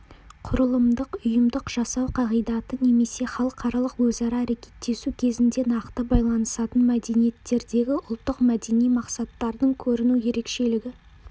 құрылымдық ұйымдық жасау қағидаты немесе халықаралық өзара әрекеттесу кезінде нақты байланысатын мәдениеттердегі ұлттық-мәдени мақсаттардың көріну ерекшелігі